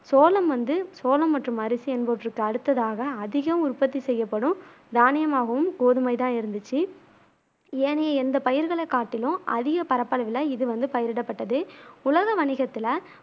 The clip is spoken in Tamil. சோளம் வந்து சோளம் மற்றும் அரிசி என்பவற்றுக்கு அடுத்ததாக அதிகம் உற்பத்தி செய்யப்படும் தானியமாகவும் கோதுமைதான் இருந்துச்சு ஏனைய எந்த பயிர்களை காட்டிலும் அதிக பரப்பளவுல இது வந்து பயிரிடப்பட்டது உலக வணிகத்துல